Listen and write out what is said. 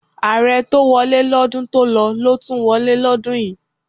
Ààrẹ tó wọlé lọ́dún tó lọ ló tún wọlé lọ́dún yìí.